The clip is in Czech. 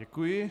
Děkuji.